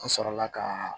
An sɔrɔla ka